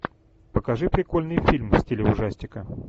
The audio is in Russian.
покажи прикольный фильм в стиле ужастика